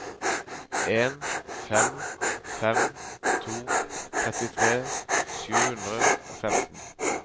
en fem fem to trettitre sju hundre og femten